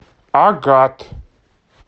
агат